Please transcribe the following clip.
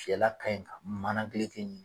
fiyɛla ka ɲi ka mana gileki